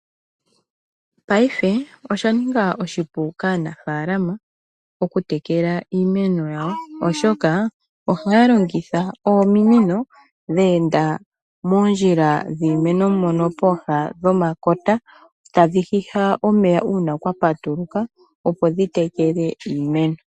Paife osha ninga oshipu kaanaafaalama okutekela iimeno yawo, oshoka ohaya longitha ominino dhe enda moondjila dhiimeno mono pooha dhomakota tadhi hiha omeya uuna kwa patuluka, opo dhi tekele iimeno.